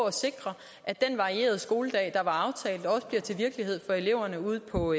at sikre at den varierede skoledag der var aftalt også bliver til virkelighed for eleverne ude på